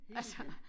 Altså